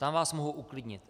Tam vás mohu uklidnit.